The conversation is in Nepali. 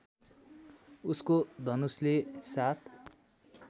उसको धनुषले साथ